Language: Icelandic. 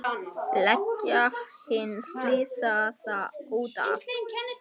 Leggja hinn slasaða út af.